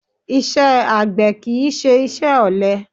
Iṣẹ́ àgbẹ̀ kì í ṣe iṣẹ́ ọ̀lẹ